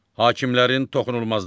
Hakimlərin toxunulmazlığı.